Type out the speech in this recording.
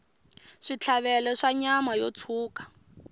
switlhavelo swa nyama yo tshuka